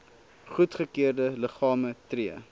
goedgekeurde liggame tree